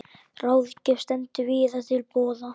Ráðgjöf stendur víða til boða.